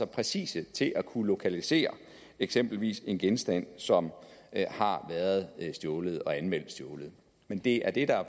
præcise til at kunne lokalisere eksempelvis en genstand som har været stjålet og anmeldt stjålet men det er det der er